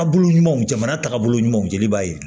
Aw bolo ɲumanw jamana tagabolo ɲumanw jeli b'a ye